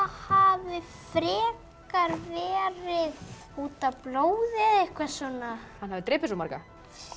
hafi frekar verið út af blóði eða eitthvað svona að hann hafi drepið svo marga